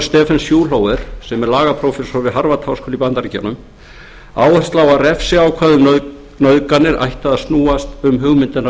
stephen schulhofer sem er lagaprófessor við harvard háskóla í bandaríkjunum áherslu á að refsiákvæði um nauðganir ættu að snúast um hugmyndina